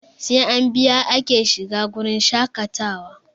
Sai an biya ake shiga wurin shaƙatawa